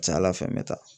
A ka ca ala fɛ n bɛ taa